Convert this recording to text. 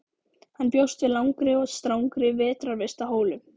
Hann bjóst við langri og strangri vetrarvist á Hólum.